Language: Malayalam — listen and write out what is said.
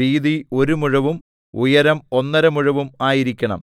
വീതി ഒരു മുഴവും ഉയരം ഒന്നര മുഴവും ആയിരിക്കണം